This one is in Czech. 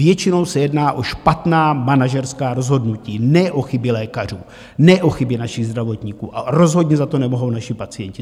Většinou se jedná o špatná manažerská rozhodnutí, ne o chyby lékařů, ne o chyby našich zdravotníků, a rozhodně za to nemohou naši pacienti.